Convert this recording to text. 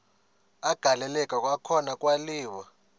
agaleleka kwakhona kwaliwa